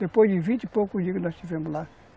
Depois de vinte e poucos dias nós estivemos lá.